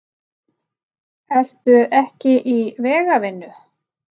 Ertu ekki í vegavinnu?